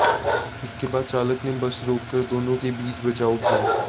इसके बाद चालक ने बस रोककर दोनों के बीच बचाव किया